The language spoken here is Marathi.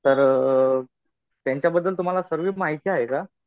तर त्यांच्याबद्दल तुम्हाला सर्वी माहिती आहे का?